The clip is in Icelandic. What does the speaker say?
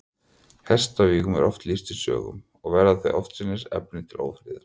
Hestavígum er oft lýst í sögum, og verða þau oftsinnis efni til ófriðar.